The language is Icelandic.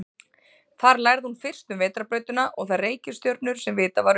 Þar lærði hún fyrst um vetrarbrautina og þær reikistjörnur sem vitað var um.